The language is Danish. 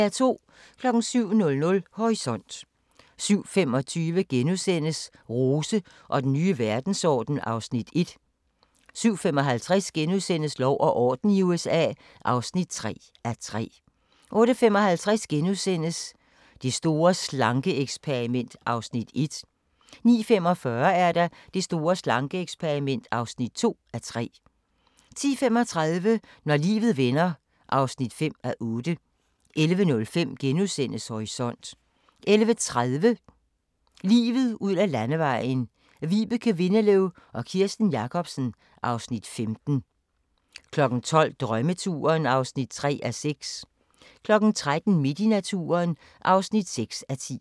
07:00: Horisont 07:25: Rose og den nye verdensorden (Afs. 1)* 07:55: Lov og orden i USA (3:3)* 08:55: Det store slanke-eksperiment (1:3)* 09:45: Det store slanke-eksperiment (2:3) 10:35: Når livet vender (5:8) 11:05: Horisont * 11:30: Livet ud ad Landevejen: Vibeke Windeløw og Kirsten Jacobsen (Afs. 15) 12:00: Drømmeturen (3:6) 13:00: Midt i naturen (6:10)